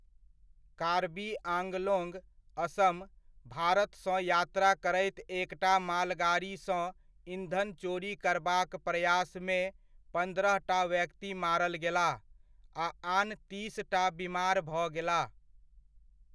कार्बी आंगलोंग, असम, भारत सँ यात्रा करैत एकटा मालगाड़ीसँ ईंधन चोरी करबाक प्रयासमे पन्द्रहटा व्यक्ति मारल गेलाह आ आन तीसटा बिमार भऽ गेलाह।